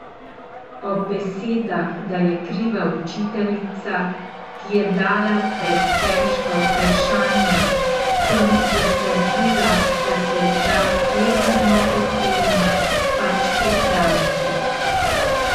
Ob besedah, da je kriva učiteljica, ki je dala pretežka vprašanja, sem zatrdila, da se da sleherno oceno pač popraviti.